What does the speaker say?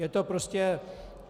Je to prostě...